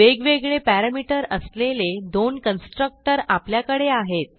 वेगवेगळे पॅरामीटर असलेले दोन कन्स्ट्रक्टर आपल्याकडे आहेत